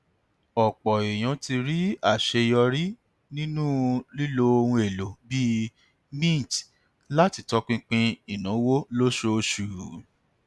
ọpọ èèyàn ti rí àṣeyọrí nínú lílo ohun èlò bíi mint láti tọpinpin ìnáwó lóṣooṣù